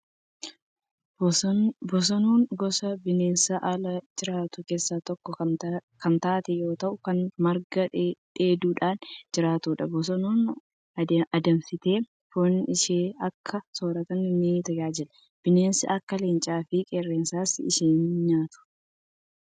Bosonuun gosa bineensa ala jiraatu keessaa tokko kan taate yoo ta'u, kan marga dheeduudhaan jiraattudha. Bosonuun adamsamtee foon ishee akka soorataatti ni tajaajila. Bineensi akka leencaa fi qeerransaas ishii nyaatu.